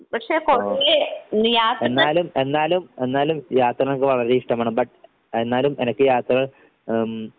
ഓഹ് എന്നാലും എന്നാലും എന്നാലും യാത്രകൾ എനക്ക് വളരെ ഇഷ്ടമാണ് ബട്ട് എന്നാലും എനക്ക് യാത്രകൾ ഉം